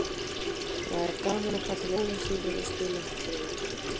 Það er gaman að fara til Ólafsvíkur og spila í fallegu umhverfi.